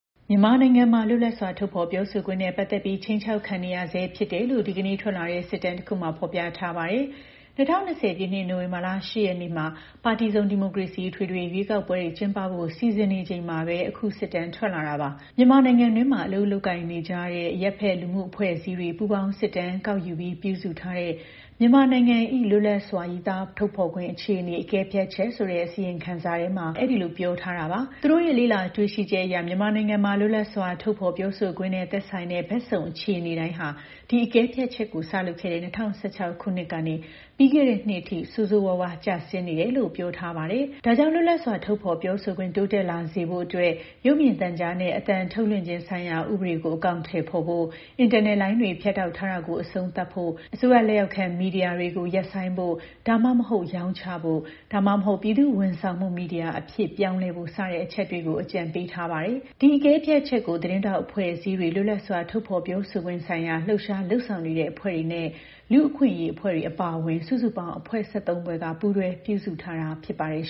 မြန်မာနိုင်ငံမှာ လွတ်လပ်စွာ ထုတ်ဖော်ပြောဆိုခွင့်နဲ့ ပတ်သက်ပြီး ခြိမ်းခြောက်ခံနေရဆဲဖြစ်တယ်လို့ ဒီကနေ့ထွက်လာတဲ့ စစ်တမ်းတခုမှာ ဖော်ပြထားပါတယ်။ ၂၀၂၀ ပြည့်နှစ်၊ နိုဝင်ဘာလ ၈ ရက်နေ့မှာ ပါတီစုံ ဒီမိုကရေစီ အထွေထွေရွေးကောက်ပွဲတွေ ကျင်းပဖို့ စီစဉ်နေချိန်မှာပဲ အခုစစ်တမ်းထွက်လာတာပါ။ မြန်မာနိုင်ငံတွင်းမှာ လုပ်ကိုင်နေကြတဲ့ အရပ်ဘက်လူမှုအဖွဲ့အစည်းတွေ ပူးပေါင်း စစ်တမ်းကောက်ယူပြီး ပြုစုထားတဲ့ မြန်မာနိုင်ငံ၏ လွတ်လပ်စွာ ရေးသားထုတ်ဖော်ခွင့်အခြေအနေ အကဲဖြတ်ချက်ဆိုတဲ့ အစီရင်ခံစာထဲမှာ အဲဒီလိုပြောထားတာပါ။ သူတို့ရဲ့ လေ့လာတွေ့ရှိချက်အရ မြန်မာနိုင်ငံမှာ လွတ်လပ်စွာ ထုတ်ဖော်ပြောဆိုခွင့်နဲ့ သက်ဆိုင်တဲ့ ဘက်စုံ အခြေအနေတိုင်းဟာ ဒီအကဲဖြတ်ချက်ကို စလုပ်ခဲ့တဲ့ ၂၀၁၆ ခုနှစ်ကနေ ပြီးခဲ့တဲ့နှစ်အထိ ဆိုးဝါးစွာ ကျဆင်းနေတယ်လို့ ပြောထားပါတယ်။ ဒါကြောင့် လွတ်လပ်စွာ ထုတ်ဖော်ပြောဆိုခွင့် တိုးတက်လာစေဖို့အတွက် ရုပ်မြင်သံကြားနဲ့ အသံထုတ်လွှင့်ခြင်းဆိုင်ရာဥပဒေကို အကောင်အထည်ဖော်ဖို့၊ အင်တာနက်လိုင်းတွေ ဖြတ်တောက်ထားတာကို အဆုံးသတ်ဖို့၊ အစိုးရလက်အောက်ခံ မီဒီယာတွေကို ရပ်ဆိုင်းဖို့ ဒါမှမဟုတ် ရောင်းချဖို့ ဒါမှမဟုတ် ပြည်သူ့ဝန်ဆောင်မှု မီဒီယာအဖြစ်ပြောင်းလဲဖို့ စတဲ့အချက်တွေကို အကြံပေးထားပါတယ်။ ဒီအကဲဖြတ်ချက်ကို သတင်းထောက်အဖွဲ့အစည်းတွေ၊ လွတ်လပ်စွာ ထုတ်ဖော်ပြောဆိုခွင့်ဆိုင်ရာ လှုပ်ရှား လုပ်ဆောင်နေတဲ့အဖွဲ့တွေနဲ့ လူ့အခွင့်အရေးအဖွဲ့တွေအပါအဝင် စုစုပေါင်း အဖွဲ့ ၁၃ ဖွဲ့က ပူးတွဲ ပြုစုထားတာဖြစ်ပါတယ်